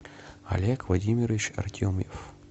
олег владимирович артемьев